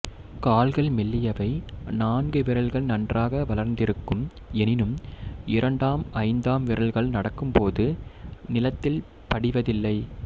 கால்கள் மெல்லியவை நான்கு விரல்கள் நன்றாக வளர்ந்திருக்கும் எனினும் இரண்டாம் ஐந்தாம் விரல்கள் நடக்கும்போது நிலத்தில் படிவதில்லை